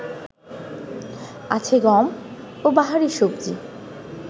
আছে গম ও বাহারি সবজি